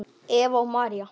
Eva og María.